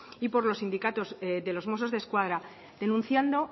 y por los sindicatos de los mossos de escuadra denunciando